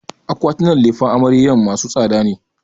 Akwatinan lefen amaryar masu tsada ne.